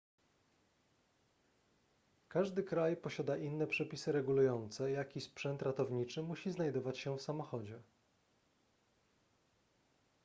każdy kraj posiada inne przepisy regulujące jaki sprzęt ratowniczy musi znajdować się w samochodzie